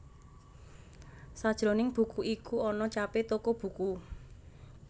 Sajroning buku iku ana capé toko buku